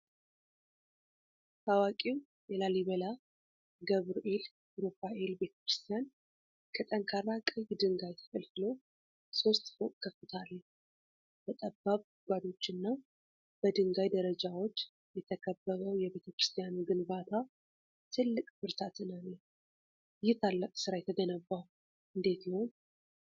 ታዋቂው የላሊበላ ገብርኤል ሩፋኤል ቤተክርስቲያን ከጠንካራ ቀይ ድንጋይ ተፈልፍሎ ሦስት ፎቅ ከፍታ አለው። በጠባብ ጉድጓዶችና በድንጋይ ደረጃዎች የተከበበው የቤተክርስቲያኑ ግንባታ ትልቅ ብርታትን አለው። ይህ ታላቅ ሥራ የተገነባው እንዴት ይሆን?